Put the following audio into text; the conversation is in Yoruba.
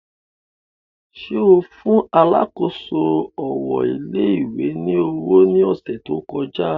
Ṣe o fun alákòóso owo ilé ìwé ni owo ni ọsẹ to kọja?